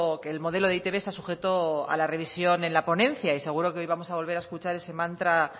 que el modelo de eitb está sujeto a la revisión en la ponencia y seguro que hoy vamos a volver a escuchar ese mantra